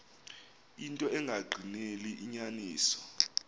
into engagqineli inyaniso